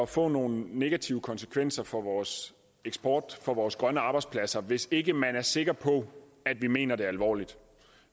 få nogle negative konsekvenser for vores eksport og vores grønne arbejdspladser hvis ikke man er sikker på at vi mener det alvorligt